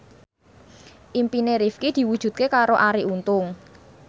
impine Rifqi diwujudke karo Arie Untung